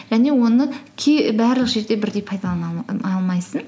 және оны барлық жерде бірдей пайдалана алмайсың